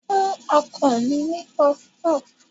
Fún ọkọ mi ní pọfupọ́fù.